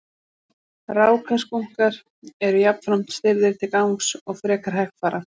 Rákaskunkar eru jafnframt stirðir til gangs og frekar hægfara.